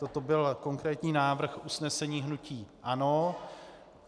Toto byl konkrétní návrh usnesení hnutí ANO.